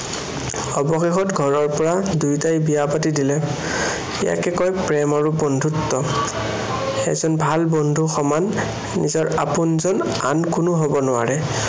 অৱশেষত ঘৰৰ পৰাও দুয়োটাকে বিয়া পাতি দিলে। ইয়াকে কয়, প্ৰেম আৰু বন্ধুত্ব। ভাল বন্ধুৰ সমান নিজৰ আপোন যেন আন কোনো হব নোৱাৰে।